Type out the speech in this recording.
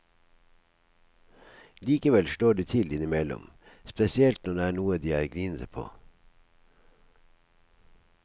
Likevel slår de til innimellom, spesielt når det er noe de er grinete på.